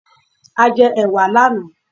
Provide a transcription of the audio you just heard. A jẹ ẹ̀wà lànáà